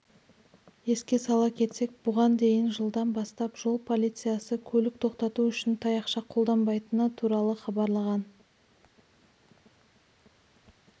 еске сала кетсек бұған дейін жылдан бастап жол полициясы көлік тоқтату үшін таяқша қолданбайтыны туралы хабарлаған